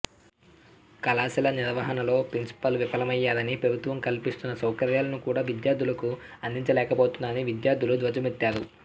కళాశాల నిర్వహణంలో ప్రిన్సిపాల్ విఫలమయ్యారని ప్రభుత్వం కల్పిస్తున్న సౌకర్యాలను కూడా విద్యార్థులకు అందించలేకపోతున్నారని విద్యార్థులు ధ్వజమెత్తారు